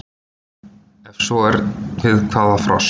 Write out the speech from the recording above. Ef svo er við hvaða frost?